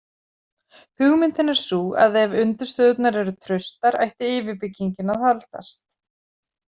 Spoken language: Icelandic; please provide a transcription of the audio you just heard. Hugmyndin er sú að ef undirstöðurnar eru traustar ætti yfirbyggingin að haldast.